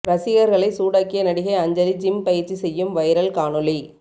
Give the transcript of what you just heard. ரசிகர்களை சூடாக்கிய நடிகை அஞ்சலி ஜிம் பயிற்சி செய்யும் வைரல் காணொளி